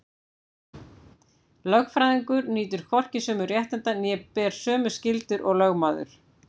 Lögfræðingur nýtur hvorki sömu réttinda né ber sömu skyldur og lögmaður.